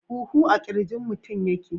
Huhu a kirjin mutum yake.